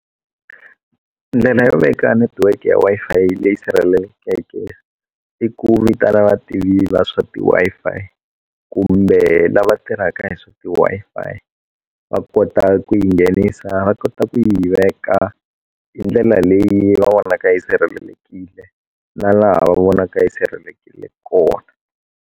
Ndlela yo veka network ya Wi-Fi leyi sirhelelekeke i ku vitana vativa va swa ti Wi-Fi kumbe lava tirhaka hi swa ti Wi-Fi va kota ku yi nghenisa va kota ku yi veka hi ndlela leyi va vonaka yi sirhelelekile na laha va vonaka yi sirhelelekile kona.